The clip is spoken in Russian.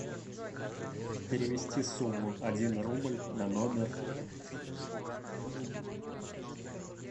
перевести сумму один рубль на номер